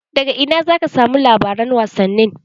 Daga ina zaka samu labaran wasanni?